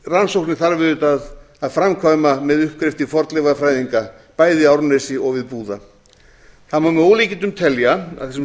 rannsóknir þarf auðvitað að framkvæma með uppgrefti fornleifafræðinga bæi í árnesi og við búða það má með ólíkindum telja að þessum